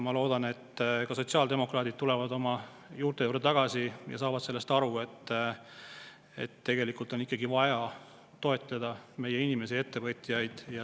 Ma loodan, et ka sotsiaaldemokraadid tulevad oma juurte juurde tagasi ja saavad sellest aru, et tegelikult on ikkagi vaja toetada meie inimesi ja ettevõtjaid.